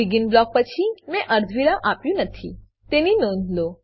begin block પછી મેં અર્ધવિરામ આપ્યું નથી તેની નોંધ લો